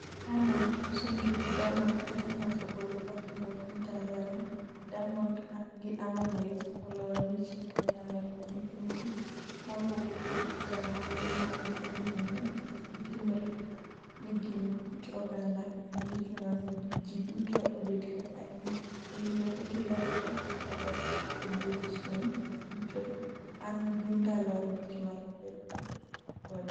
Diamond uso njugu Diamond Platinumz ogolo pafum e piny Tanzania Diamond and Harmonize oloyo mich e piny Amerka "Nyithind ji mawuok kuom chandruoge ma dhi nyime, kik itimre ni gin kit oganda kendo ichuno ni ji duto obed kaka in, owinjore gilokre e ot odiechieng' duto… An gi ndalo 5 mar pet kode;